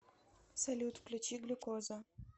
салют включи глюкоза